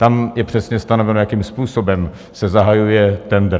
Tam je přesně stanoveno, jakým způsobem se zahajuje tendr.